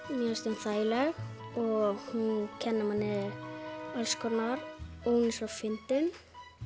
mér finnst hún þægileg og hún kennir manni alls konar og hún er svo fyndin